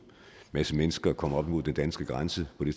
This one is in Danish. masse mennesker komme op imod den danske grænse det